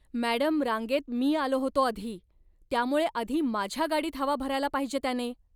Madam, रांगेत मी आलो होतो आधी, त्यामुळे आधी माझ्या गाडीत हवा भरायला पाहिजे त्याने.